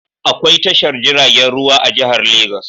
Akwai tashar jiragen ruwa a jihar lagos.